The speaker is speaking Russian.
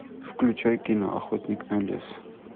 включай кино охотник на лис